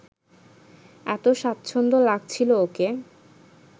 এত স্বাচ্ছন্দ্য লাগছিল ওকে